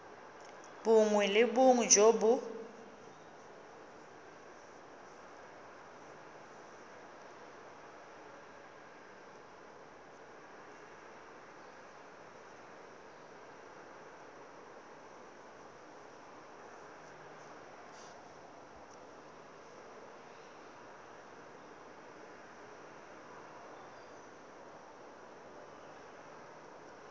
bongwe le bongwe jo bo